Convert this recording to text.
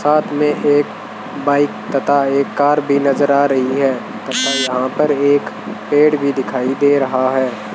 साथ में एक बाइक तथा एक कार भी नजर आ रही है तथा यहां पर एक पेड़ भी दिखाई दे रहा है।